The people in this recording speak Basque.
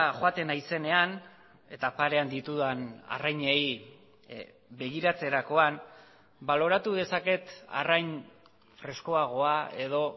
joaten naizenean eta parean ditudan arrainei begiratzerakoan baloratu dezaket arrain freskoagoa edo